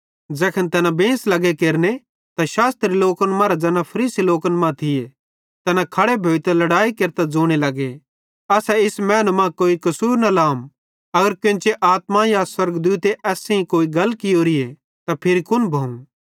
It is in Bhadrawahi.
तैखन तैना बेंस केरने लग्गे शास्त्री लोकन मरां ज़ैना फरीसी लोकन मां थिये तैना खड़े भोइतां लड़ाई केरतां ज़ोने लगे असां इस मैनू मां कोई कसूर न लहम अगर केन्ची आत्मा या स्वर्गदूते एस सेइं कोई गल कियोरीए त फिरी कुन भोवं